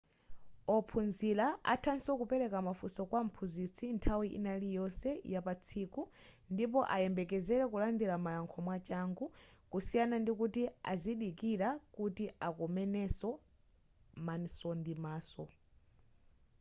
ophunzira athanso kupereka mafunso kwa mphunzitsi nthawi ina iliyonse ya patsiku ndipo ayembekezere kulandira mayankho mwachangu kusiyana ndikuti azidikira kuti akomaneso maso ndi maso